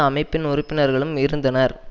அமைப்பின் உறுப்பினர்களும் இருந்தனர்